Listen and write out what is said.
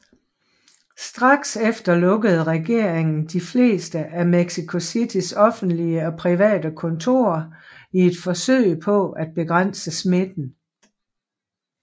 Straks efter lukkede regeringen de fleste af Mexico Citys offentlige og private kontorer i et forsøg på at begrænse smitten